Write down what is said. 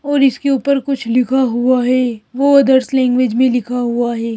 और इसके ऊपर कुछ लिखा हुआ है वो अदर्स लैंग्वेज में लिखा हुआ है।